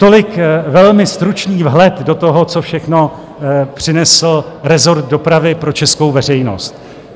Tolik velmi stručný vhled do toho, co všechno přinesl rezort dopravy pro českou veřejnost.